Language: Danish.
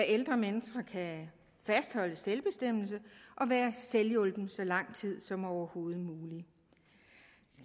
ældre mennesker kan fastholde selvbestemmelse og være selvhjulpne så lang tid som overhovedet muligt